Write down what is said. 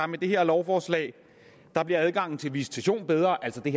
med det her lovforslag bliver adgangen til visitation bedre altså i